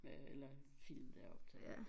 Ja eller film der er optaget